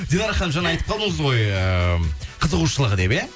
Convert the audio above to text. динара ханым жаңа айтып қалдыңыз ғой ыыы қызығушылығы деп иә